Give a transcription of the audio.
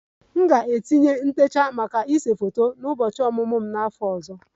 M ga-etinye ntecha maka ịse foto ụbọchị ọmụmụ m n'afọ ọzọ